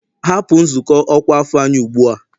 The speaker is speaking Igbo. Hapụ nzukọ ọkwa afọ anyị ugbu a!